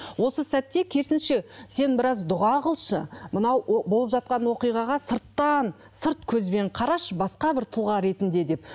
осы сәтте керісінше сен біраз дұға қылшы мынау болып жатқан оқиғаға сырттан сырт көзбен қарашы басқа бір тұлға ретінде деп